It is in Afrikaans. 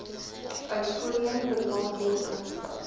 uit voorheen benadeelde